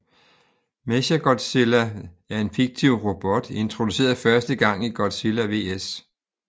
Mechagodzilla er en fiktiv Robot introduceret første gang i Godzilla vs